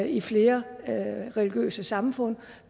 i flere religiøse samfund